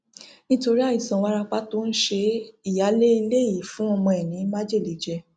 nítorí àìsàn wárápá tó ń ṣe é ìyáálé ilé yìí fún ọmọ ẹ ní májèlé jẹ